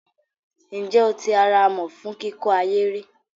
Ǹjẹ́ o ti ara amọ̀ fún kíkọ́ ahéré?